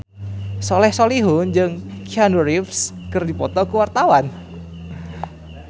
Soleh Solihun jeung Keanu Reeves keur dipoto ku wartawan